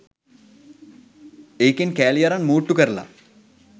ඒකෙන් කෑලි අරන් මූට්ටු කරලා